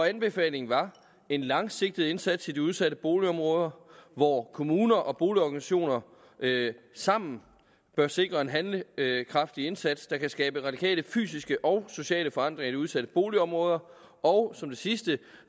anbefalingen var en langsigtet indsats i de udsatte boligområder hvor kommuner og boligorganisationer sammen bør sikre en handlekraftig indsats der kan skabe radikale fysiske og sociale forandringer i de udsatte boligområder og som det sidste at